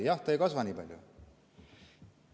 Ei, ta ei kasva nii palju.